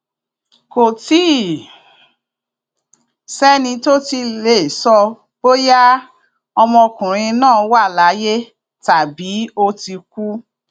kò tí ì sẹni tó tí ì lè sọ bóyá ọmọkùnrin náà wà láàyè tàbí ó ti kú